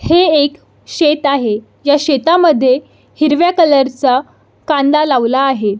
हे एक शेत आहे ह्या शेतामध्ये हिरव्या कलर चा कांदा लावला आहे.